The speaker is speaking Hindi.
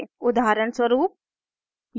उदाहरणस्वरूप